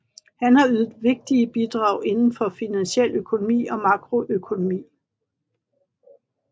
Han har ydet vigtige bidrag inden for finansiel økonomi og makroøkonomi